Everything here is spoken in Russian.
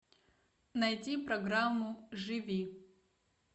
найди программу живи